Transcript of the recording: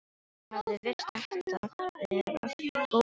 Mér hafði virst þetta vera góður strákur.